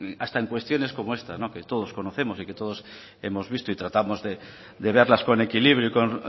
hasta en cuestiones como esta que todos conocemos y que todos hemos visto y tratamos de verlas con equilibrio y con